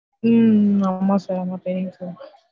உம் உம் ஆமா sir அவங்க famous தான்